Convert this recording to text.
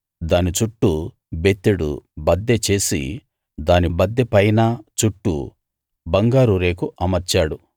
దాని చుట్టూ బెత్తెడు బద్దె చేసి దాని బద్దె పైన చుట్టూ బంగారు రేకు అమర్చాడు